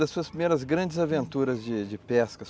Das suas primeiras grandes aventuras de de pesca.